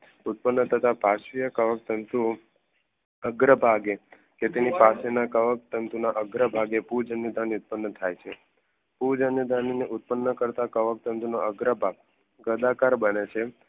ઉત્પન્ન થતાં પારસીયક કવક તંતુઓ અગ્રપાકે તે તેની પાસે ના કવક તંતુઓ અગ્રપાકે પૂજન્યધની ઉત્પન્ન થાય છે પૂજન અને ધાની ને ઉત્પન્ન કરતાં કવક તંતુઓ ના અગ્ર પાક ગદાકાર બને છે